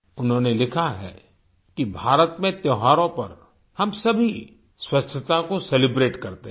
उन्होंने लिखा है कि भारत में त्योहारों पर हम सभी स्वच्छता को सेलिब्रेट करते हैं